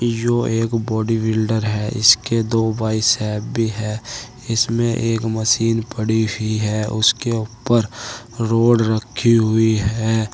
यो एक बॉडीबिल्डर है। इसके दो बाइसेप भी है। इसमें एक मशीन पड़ी हुई है। उसके ऊपर रोड रखा हुई है।